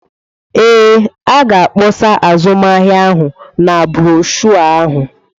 Ee, a ga-akpọsa azụmahịa ahụ na broshuọ ahụ.